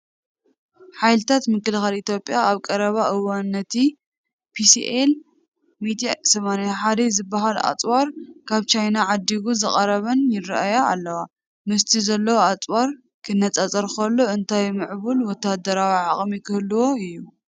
ሓይልታት ምክልኻል ኢትዮጵያ ኣብ ቀረባ እዋን ነቲ ፒሲኤል-181 ዝበሃል ኣጽዋር ካብ ቻይና ዓዲጉ ዝቐረበን ይረአያ ኣለዋ ። ምስቲ ዘሎ ኣጽዋር ክነጻጸር ከሎ እንታይ ምዕቡል ወተሃደራዊ ዓቕሚ ክህልዎ እዩ?